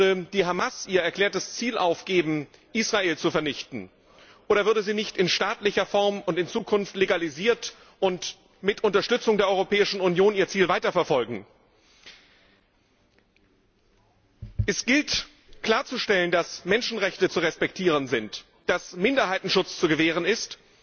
Würde die Hamas ihr erklärtes Ziel aufgeben, Israel zu vernichten, oder würde sie nicht in staatlicher Form und in Zukunft legalisiert und mit Unterstützung der Europäischen Union ihr Ziel weiterverfolgen? Es gilt, klarzustellen, dass Menschenrechte zu respektieren sind, dass Minderheitenschutz zu gewähren ist,